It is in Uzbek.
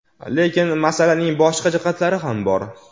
Lekin masalaning boshqa jihatlari ham bor.